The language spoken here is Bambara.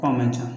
K'a man ca